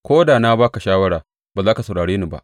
Ko da na ba ka shawara, ba za ka saurare ni ba.